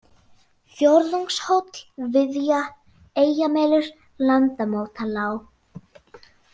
Fjórðungshóll, Viðja, Eyjamelur, Landamótalág